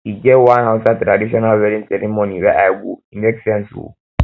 e get one hausa traditional wedding ceremony wey i go e make sense o